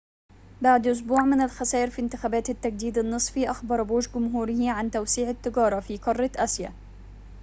بعد أسبوعٍ من الخسائر في انتخابات التجديد النصفي، أخبر بوش جمهوره عن توسيع التجارة في قارة آسيا